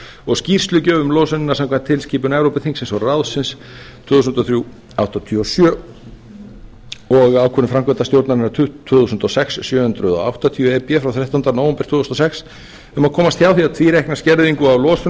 og skýrslugjöf um losunina samkvæmt tilskipun evrópuþingsins og ráðsins tvö þúsund og þrjú áttatíu og sjö e b og ákvörðun framkvæmdastjórnarinnar tvö þúsund og sex sjö hundruð áttatíu e b frá þrettánda nóvember tvö þúsund og sex um að komast hjá því að tvíreikna skerðingu á losun